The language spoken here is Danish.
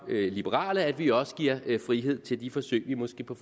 liberale at vi også giver frihed til de forsøg vi måske på